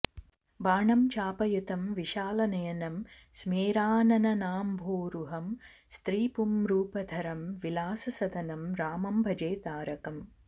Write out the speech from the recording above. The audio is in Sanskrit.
बाणं चापयुतं विशालनयनं स्मेराननाम्भोरुहं स्त्रीपुंरूपधरं विलाससदनं रामं भजे तारकम्